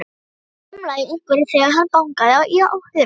Það umlaði í einhverjum þegar hann bankaði á hurðina.